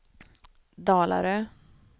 Dalarö